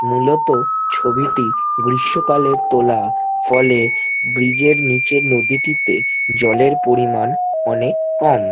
মূলত ছবিটি গ্রীষ্ম কালে তোলা ফলে ব্রিজ এর নিচের নদীটিতে জলের পরিমান অনেক কম।